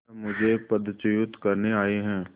वे मुझे पदच्युत करने आये हैं